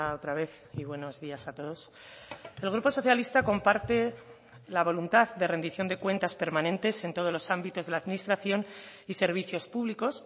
otra vez y buenos días a todos el grupo socialista comparte la voluntad de rendición de cuentas permanentes en todos los ámbitos de la administración y servicios públicos